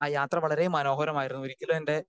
speaker 2 ആ യാത്ര വളരെ മനോഹരമായിരുന്നു ഒരിക്കലും എൻറെ